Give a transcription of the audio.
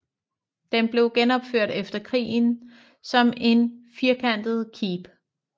Den blev genopført efter krigen som et firkantet keep